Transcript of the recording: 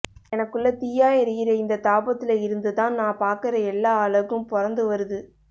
எனக்குள்ள தீயா எரியற இந்த தாபத்தில இருந்துதான் நான் பாக்கற எல்லா அழகும் பொறந்து வருது